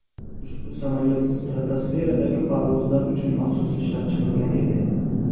Ushbu samolyot stratosferadagi parvozlar uchun maxsus ishlab chiqilgan edi.